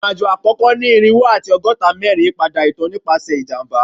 Irin-ajo akoko ni irinwo ati ọgọta mẹrin yipada itan nipasẹ ijamba